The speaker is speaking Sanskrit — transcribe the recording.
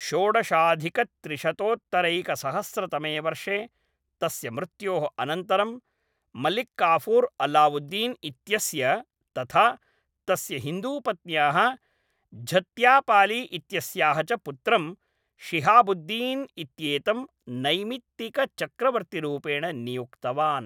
षोडशाधिकत्रिशतोत्तरैकसहस्रतमे वर्षे तस्य मृत्योः अनन्तरं, मलिक्काफुर् अलावुद्दीन् इत्यस्य तथा तस्य हिन्दूपत्न्याः झत्यापाली इत्यस्याः च पुत्रं, शिहाबुद्दीन् इत्येतं नैमित्तिकचक्रवर्तिरूपेण नियुक्तवान्।